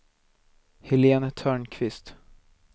Helén Törnqvist